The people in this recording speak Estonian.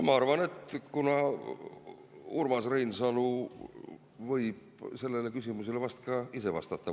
Ma arvan, et Urmas Reinsalu võib sellele küsimusele vast ka ise vastata.